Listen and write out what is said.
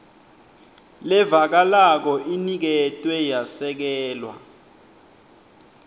levakalako iniketwe yasekelwa